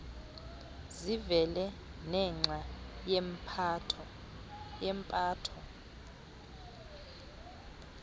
zivele nenxa yempatho